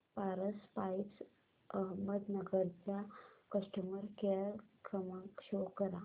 Paras pipes Ahmednagar चा customer care क्रमांक show करा